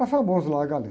É famoso lá a galena.